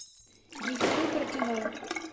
михаил портяной